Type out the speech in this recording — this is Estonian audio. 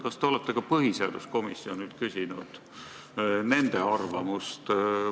Kas te olete ka põhiseaduskomisjonilt arvamust küsinud?